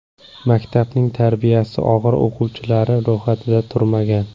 Maktabning tarbiyasi og‘ir o‘quvchilari ro‘yxatida turmagan.